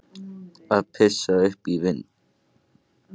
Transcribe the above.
Að pissa upp í vindinn